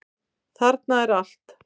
Þarna er allt.